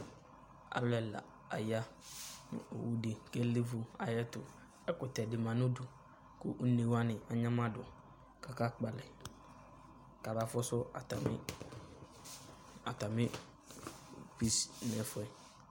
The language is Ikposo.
Alu ɛla aya nu owudi ka liʋu ayɛtu Ɛkutɛ di ma nu udu Ku uné wani aynamadu ka aka kpalɛ kama fusu atami bus nɛfɛ